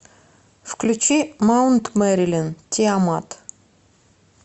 включи маунт мэрилин тиамат